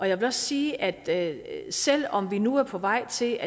jeg vil også sige at selv om det nu er på vej til